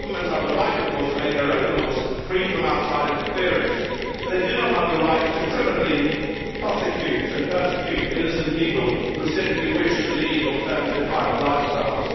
Governments, of course, have the right to make their own laws, free from outside interference, but they do not have the right to criminally prosecute and persecute innocent people who simply wish to lead alternative private lifestyles.